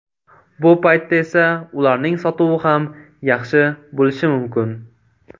Bu paytda esa ularning sotuvi ham yaxshi bo‘lishi mumkin.